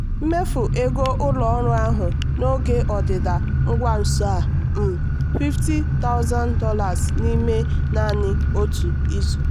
mfu ego ụlọ ọrụ ahụ n'oge ọdịda ngwa nso a um $500000 n'ime naanị otu izu.